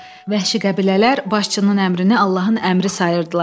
Vəhşi qəbilələr başçının əmrini Allahın əmri sayırdılar.